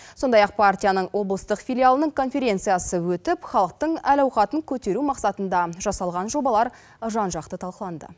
сондай ақ партияның облыстық филиалының конференциясы өтіп халықтың әл ауқатын көтеру мақсатында жасалған жобалар жан жақты талқыланды